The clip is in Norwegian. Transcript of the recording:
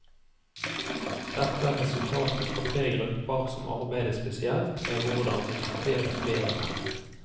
Dette er resultatet fra tre grupper som arbeidet spesielt med hvordan rekruttere flere menn.